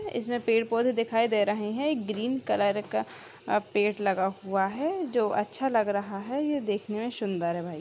इसमें पेड़-पौधे दिखाई दे रहे हैं एक ग्रीन कलर का अ पेड़ लगा हुआ है जो अच्छा लग रहा है ये देखने में सुन्दर है भई।